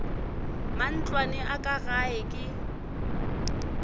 matlwana a ka gae ke